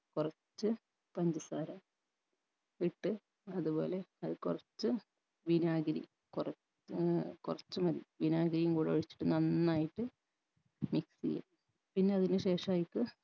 കൊറച്ച് പഞ്ചസാര ഇട്ട് അത്പോലെ അത് കൊറച്ച് വിനാഗിരി കൊറ ഏർ കൊറച്ച് മതി വിനാഗിരിയും കൂട ഒഴിച്ചിട്ട് നന്നായിട്ട് mix എയ്യുഅ